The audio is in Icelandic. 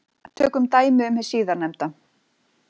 Tökum dæmi um hið síðarnefnda.